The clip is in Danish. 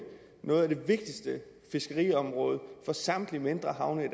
nogle af de vigtigste fiskeriområder for samtlige mindre havne i